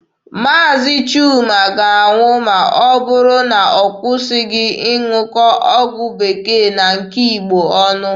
Maazi Chuma ga-anwụ ma ọ bụrụ na ọ kwụsịghị ịṅụkọ ọgwụ bekee na nke Igbo ọnụ.